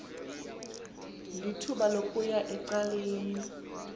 lithuba lokuya ecaleni